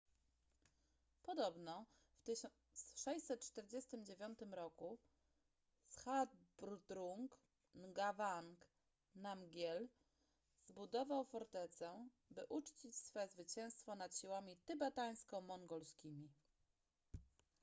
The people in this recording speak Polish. podobno w 1649 r zhabdrung ngawang namgyel zbudował fortecę by uczcić swe zwycięstwo nad siłami tybetańsko-mongolskimi